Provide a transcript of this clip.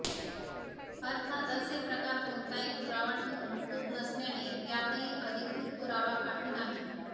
अर्थात असे प्रकार कोणताही पुरावा ठेऊन होत नसल्याने यातही अधिकृत पुरावा काही नाही